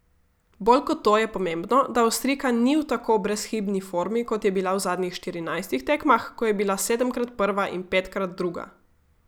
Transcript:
Bolj kot to je pomembno, da Avstrijka ni v tako brezhibni formi, kot je bila v zadnjih štirinajstih tekmah, ko je bila sedemkrat prva in petkrat druga.